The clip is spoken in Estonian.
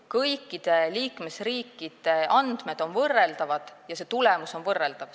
Kõikide liikmesriikide andmed on võrreldavad ja see tulemus on võrreldav.